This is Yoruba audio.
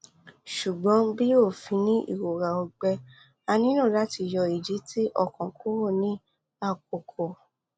ṣugbọn bi ofin ni irora ọgbẹ a nilo lati yọ idi ti okan kuro ni akọkọ